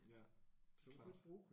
Ja klart